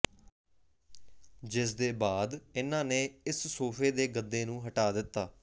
ਜਿਸਦੇ ਬਾਅਦ ਇਨ੍ਹਾਂ ਨੇ ਇਸ ਸੋਫੇ ਦੇ ਗੱਦੇ ਨੂੰ ਹਟਾ ਦਿੱਤਾ